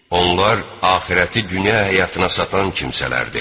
Onlar axirəti dünya həyatına satan kimsələrdir.